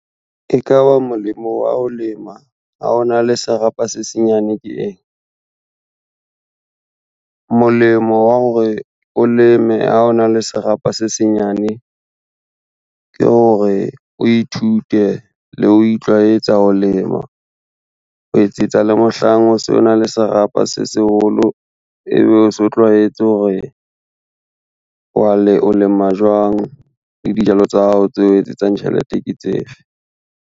E ka ba molemo wa ho lema ha ona le serapa se senyane ke eng? Molemo wa hore o leme ha ona le serapa se senyane ke hore o ithute le ho itlwaetsa ho lema, ho etsetsa le mohlang o se ona le serapa se seholo ebe o so tlwaetse hore o lema jwang le dijalo tsa hao tse o etsetsang tjhelete ke tsefe.